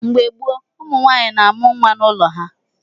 Mgbe gboo, ụmụnwaanyị na-amụ nwa n’ụlọ ha.